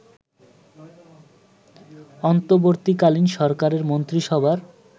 অন্তর্বর্তীকালীন সরকারের মন্ত্রীসভার